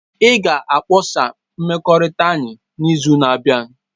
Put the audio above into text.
Ị ga-akpọsa mmekọrịta anyị n'izu na-abịa.